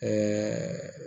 Ɛɛ